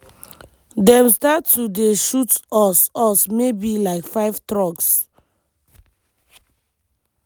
"dem start to dey shoot us us maybe like five trucks."